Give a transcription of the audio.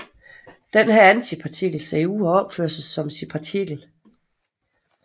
Denne antipartikel ser ud og opfører sig som sin partikel